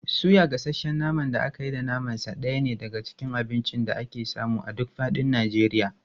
Suya, gasasshen naman da aka yi da naman sa ɗaya ne daga cikin abincin da ake samu a duk faɗin Najeriya.